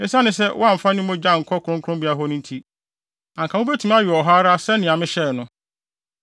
Esiane sɛ wɔamfa ne mogya ankɔ kronkronbea hɔ no nti, anka mubetumi awe wɔ hɔ ara sɛnea mehyɛe no.”